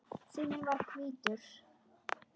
Síminn var hvítur.